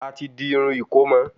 A ti di Irún ìkómọ